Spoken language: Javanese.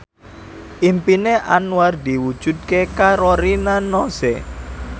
impine Anwar diwujudke karo Rina Nose